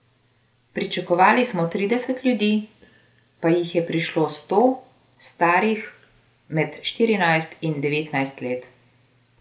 Pričakovali smo trideset ljudi, pa jih je prišlo sto, starih med štirinajst in devetnajst let.